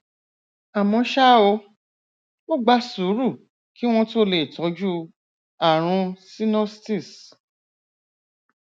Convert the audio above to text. àmọ ṣá o ó gba sùúrù kí wọn tó lè tọjú ààrùn sinusitis